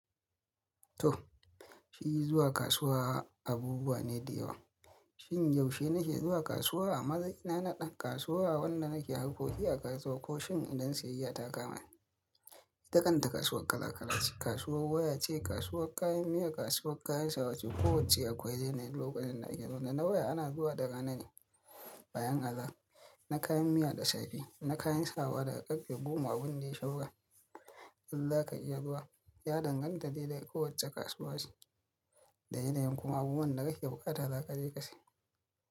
To, shi zuwa kasuwa abubuwa ne da yawa. Shin yaushe na ke zuwa kasuwa? Maza ina na ɗan kasuwa, wanda na ke harkoki a kasuwa ko shin idan siyayya ta kama ni. Ita kanta kasuwar kala-kala ce. Kasuwar waya ce, kasuwar kayan miya, kasuwar kayan sawa ce. Kowacce akwai yanayin lokacin da ake zuwa na waya ana zuwa da rana ne bayan azahar na kayan miya da safe na kayan sawa daga karfe goma abin da yayi saura In za ka iya zuwa, ya danganta dai da kowacce kasuwa ce da yanayin kuma abubuwan da kake bukata za ka je ka sayi.